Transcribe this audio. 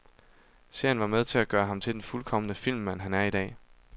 Serien var med til at gøre ham til den fuldkomne filmmand, han er i dag.